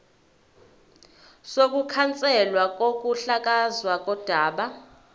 sokukhanselwa kokuhlakazwa kodaba